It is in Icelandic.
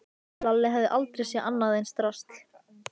Lalli hafði aldrei séð annað eins drasl.